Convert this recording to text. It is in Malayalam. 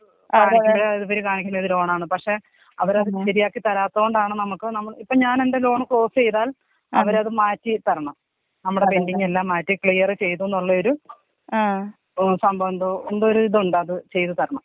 അത് നോട്ട്‌ ക്ലിയർ പക്ഷെ അവരത് ശെരിയാക്കി തരാത്തോണ്ടാണ് നമ്മുക്ക് നമ്മ ഇപ്പൊ ഞാനെന്റെ ലോൺ ക്ലോസീതാൽ അവരത് മാറ്റി തരണം. നമ്മുടെ പെന്റിങ്ങ് എല്ലാം മാറ്റി ക്ലിയർ ചെയ്തൂന്നുള്ളൊരു സംഭവെന്തോ എന്തോ ഒരിതുണ്ട് അത് ചെയ്ത് തരണം.